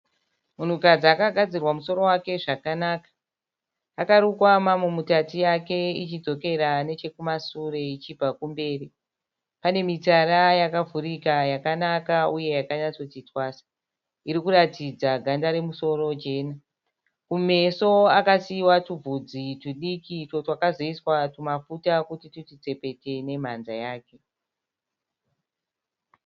Munhukadzi akagadzirwa musoro wake zvakanaka, akarukwa mamu mutatu yake ichidzokera nechekumasure ichibva kumberi. Pane mitsara yakavhurika yakanaka uye yakanyatsoti twasa irikuratidza ganda remusoro jena. Kumeso akasiiwa tubvudzi tudiki utwo twakazoiswa tumafuta kuti tuti tsepete nemhanza yake.